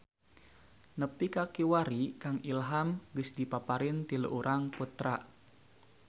Nepi ka kiwari Kang Ilham geus dipaparin tilu urang putra